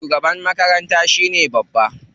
Shugaban makaranta shine babba.